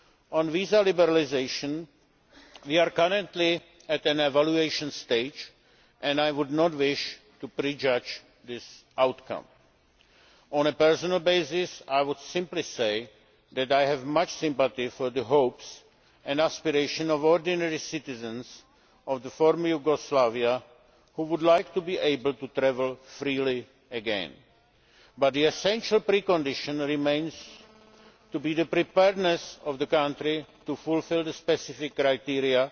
On visa liberalisation, we are currently at an evaluation stage, and I would not wish to prejudge the outcome. On a personal basis, I would simply say that I have much sympathy for the hopes and aspirations of ordinary citizens of the former Yugoslavia who would like to be able to travel freely again. But the essential precondition remains the preparedness of the country to fulfil the specific